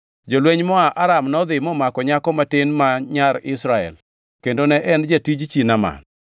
Jolweny moa Aram nodhi momako nyako matin ma nyar Israel kendo ne en jatij chi Naaman.